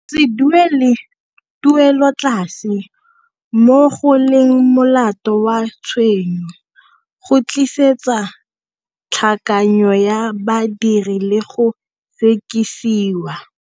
Go se duele tuelotlase, mo go leng molato wa tshenyo, go tlisetsa tlhakanyo ya badiri le go sekisiwa.